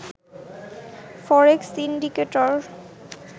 forex indicator